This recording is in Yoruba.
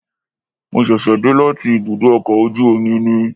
Mo ṣẹ̀ṣẹ̀ dé láti ibùdó ọkọ̀ ojú omi ni